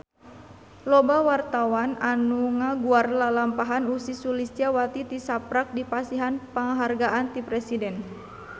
Loba wartawan anu ngaguar lalampahan Ussy Sulistyawati tisaprak dipasihan panghargaan ti Presiden